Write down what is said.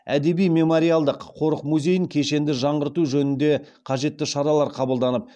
әдеби мемориалдық қорық музейін кешенді жаңғырту жөнінде қажетті шаралар қабылданып